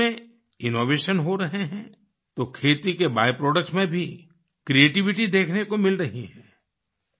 खेती में इनोवेशन हो रहे हैं तो खेती के बाय प्रोडक्ट्स में भी क्रिएटिविटी देखने को मिल रही है